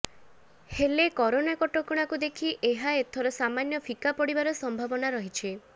ହେଲେ କରୋନା କଟକଣାକୁ ଦେଖି ଏହା ଏଥର ସାମାନ୍ୟ ଫିକା ପଡିବାର ସମ୍ଭାବନା ରହିଛି